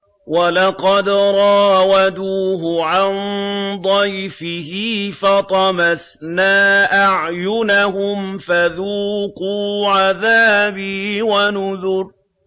وَلَقَدْ رَاوَدُوهُ عَن ضَيْفِهِ فَطَمَسْنَا أَعْيُنَهُمْ فَذُوقُوا عَذَابِي وَنُذُرِ